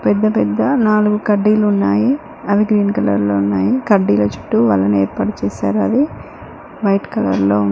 పెద్ద పెద్ద నాలుగు కడ్డీలు ఉన్నాయి అవి గ్రీన్ కలర్ లో ఉన్నాయి కడ్డీల చుట్టూ వలని ఏర్పాటు చేశారు అది వైట్ కలర్ లో--